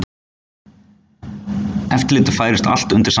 Eftirlitið færist allt undir sama hatt